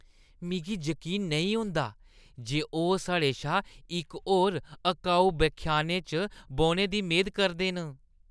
मिगी जकीन नेईं होंदा जे ओह् साढ़े शा इक होर अकाऊ व्याख्यानै च बौह्‌ने दी मेद करदे न।